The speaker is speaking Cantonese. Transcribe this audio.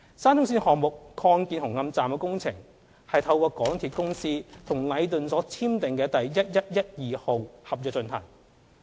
沙中線項目擴建紅磡站的工程是透過港鐵公司與禮頓建築有限公司所簽訂的第1112號合約進行。